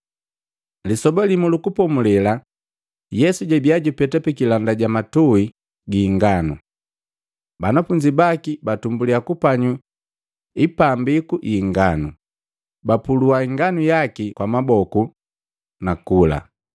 Lisoba limu lu Kupomulela Yesu jabiya jupeta pikilanda ja matui gi inganu. Banafunzi baki batumbulya kupanyu ipambiku yi inganu, bapulua inganu yaki kwa maboku, nakula.